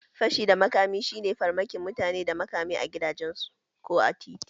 Fashi da makami shi ne farmakin mutane da makamai a gidajensu ko a tituna